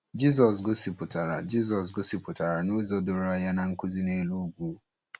Jizọs gosipụtara Jizọs gosipụtara n’ụzọ doro anya na Nkuzi Nelu Ugwu.